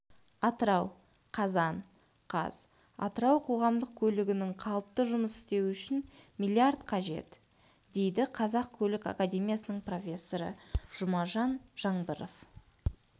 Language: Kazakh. атырау қазан қаз атырау қоғамдық көлікігінің қалыпты жұмыс істеуі үшін миллиард қажет дейді қазақ көлік академиясының профессоры жұмажан жаңбыров